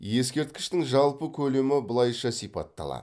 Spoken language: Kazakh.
ескерткіштің жалпы көлемі былайша сипатталады